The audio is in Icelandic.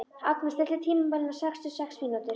Agnar, stilltu tímamælinn á sextíu og sex mínútur.